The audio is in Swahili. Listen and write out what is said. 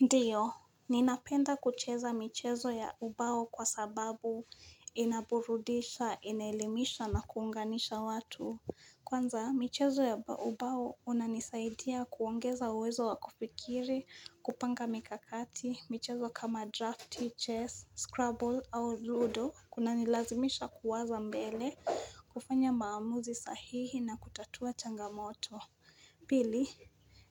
Ndiyo, ninapenda kucheza michezo ya ubao kwa sababu inaburudisha, inaelimisha na kuunganisha watu. Kwanza, michezo ya ubao unanisaidia kuongeza uwezo wakufikiri, kupanga mikakati, michezo kama drafti, chess, scrabble au zudo, kunanilazimisha kuwaza mbele, kufanya maamuzi sahihi na kutatua changamoto. Pili,